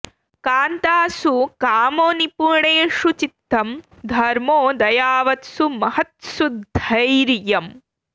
कान्तासु कामो निपुणेषु चित्तं धर्मो दयावत्सु महत्स्सु धैर्यम्